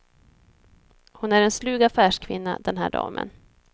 Hon är en slug affärskvinna, den här damen.